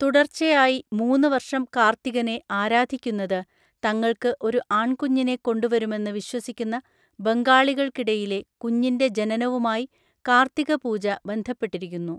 തുടർച്ചയായി മൂന്ന് വർഷം കാർത്തികനെ ആരാധിക്കുന്നത്, തങ്ങൾക്ക് ഒരു ആൺകുഞ്ഞിനെ കൊണ്ടുവരുമെന്ന് വിശ്വസിക്കുന്ന ബംഗാളികൾക്കിടയിലെ, കുഞ്ഞിൻ്റെ ജനനവുമായി കാർത്തിക പൂജ ബന്ധപ്പെട്ടിരിക്കുന്നു.